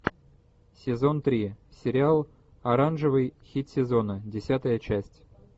сезон три сериал оранжевый хит сезона десятая часть